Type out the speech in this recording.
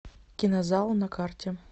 кинозал на карте